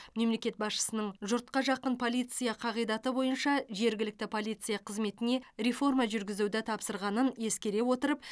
мемлекет басшысының жұртқа жақын полиция қағидаты бойынша жергілікті полиция қызметіне реформа жүргізуді тапсырғанын ескере отырып